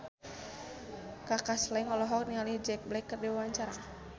Kaka Slank olohok ningali Jack Black keur diwawancara